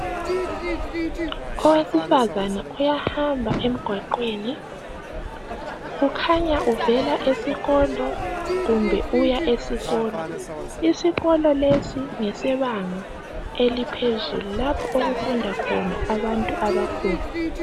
Owesifazana uyahamba emgwaqweni. Kukhanya uvela esikolo kumbe uya esikolo. Isikolo lesi ngesebanga eliphezulu lapho okufunda khona abantu abakhulu.